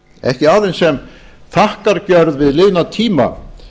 ekki aðeins sem þakkargjörð við liðna tíma